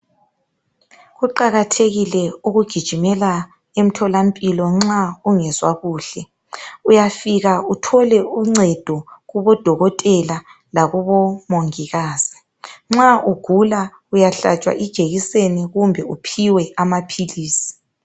Kuqakathekile ukugijimela emtholampilo nxa ungezwa kuhle, uyafika uthole uncedo kubodokotela lakubomongikazi. Nxa ugula uyahlatshwa ijekiseni kumbe uphiwe amaphilisi.